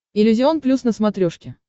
иллюзион плюс на смотрешке